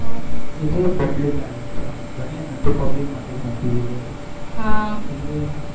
નવો કોઈ એક બબલી garden છે ઘણી એ ને તો public માટે જ મુક્યું છે એ garden હા એટલે